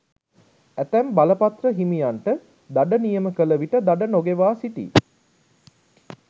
ඇතැම් බලපත්‍ර හිමියන්ට දඩ නියම කළ විට දඩ නොගෙවා සිටියි.